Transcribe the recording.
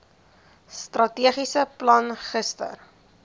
strategiese plan gister